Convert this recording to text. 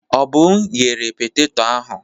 Obum ghere petetọ ahụ.